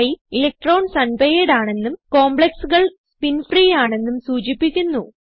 high electrons unpaired ആണെന്നും complexകൾ spin free ആണെന്നും സൂചിപ്പിക്കുന്നു